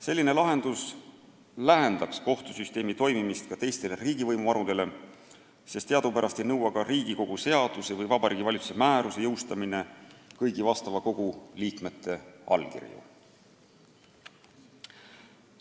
Selline lahendus lähendaks kohtusüsteemi toimimist ka teistele riigivõimuharudele, sest teadupärast ei nõua ka Riigikogu seaduse või Vabariigi Valitsuse määruse jõustamine kõigi vastava kogu liikmete allkirju.